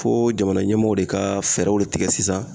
Fo jamana ɲɛmɔw de ka fɛɛrɛw tigɛ sisan